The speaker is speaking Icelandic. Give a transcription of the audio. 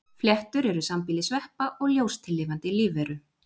Fléttur eru sambýli sveppa og ljóstillífandi lífveru.